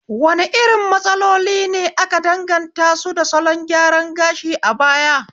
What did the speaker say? Wane irin matsaloli ne aka danganta su da salon gyaran gashi a baya?